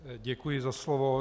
Děkuji za slovo.